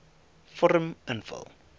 vorm invul